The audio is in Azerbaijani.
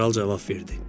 Kral cavab verdi.